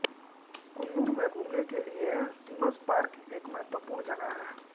कुन्नूर में घूमने के लिए सिमस् पार्क एक महत्वपूर्ण जगह है